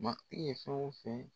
Ma i ye fɛn o fɛn